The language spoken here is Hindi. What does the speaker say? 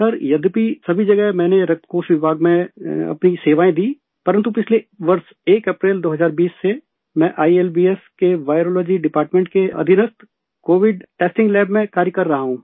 सर यद्यपि सभी जगह मैंने रक्तकोष विभाग में अपनी सेवाएं दी परन्तु पिछले वर्ष 1 अप्रैल 2020 से मैं आईएलबीएस के वायरोलॉजी डिपार्टमेंट के अधिरत कोविड टेस्टिंग लैब में कार्य कर रहा हूँ